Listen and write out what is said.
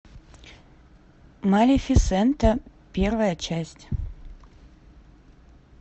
малефисента первая часть